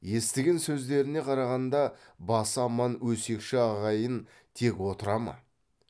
естіген сөздеріне қарағанда басы аман өсекші ағайын тек отыра ма